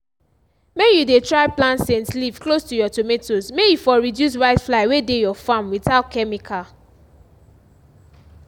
may you dey try plant scent leaf close to your tomatoes may e for reduce whitefly wey dey your farm without chemical